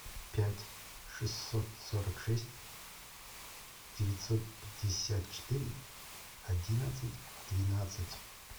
пять шестьсот сорок шесть девятьсот пятьдесят четыре одиннадцать двенадцать